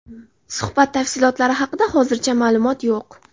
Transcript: Suhbat tafsilotlari haqida hozircha ma’lumot yo‘q.